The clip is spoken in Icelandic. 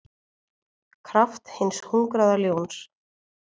kraft hins hungraða ljóns.